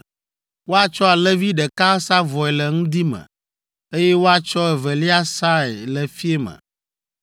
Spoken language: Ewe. Woatsɔ alẽvi ɖeka asa vɔe le ŋdi me, eye woatsɔ evelia asae le fiẽ me.